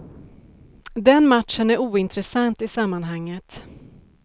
Den matchen är ointressant i sammanhanget.